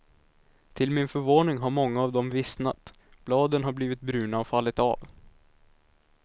Till min förvåning har många av dem vissnat, bladen har blivit bruna och fallit av.